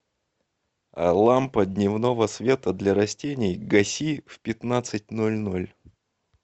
лампа дневного света для растений гаси в пятнадцать ноль ноль